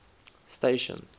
station